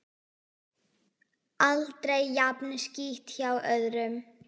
Aldrei jafn skítt hjá öðrum.